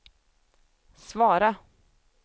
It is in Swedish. svara